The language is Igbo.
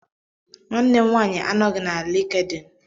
Nwanne m nwanyi anọghị na LinkedIn